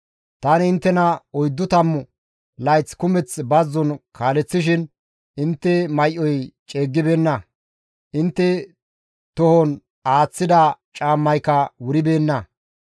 Tani inttena oyddu tammu layth kumeth bazzon kaaleththishin intte may7oy ceeggibeenna; intte tohon aaththida caammayka wuribeenna.